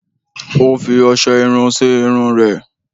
Ó fi ọṣẹ irun sí irun rẹ̀